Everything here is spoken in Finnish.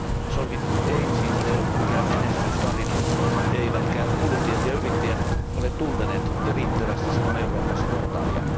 SOLVIT ei siis ole ollut mikään menestystarina eivätkä kuluttajat ja yrittäjät ole tunteneet riittävästi Sinun Eurooppasi portaalia.